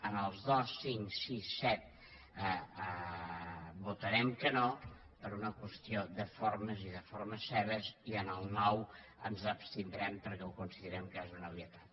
en els dos cinc sis i set votarem que no per una qüestió de formes i de formes seves i en el nou ens abstindrem perquè considerem que és una obvietat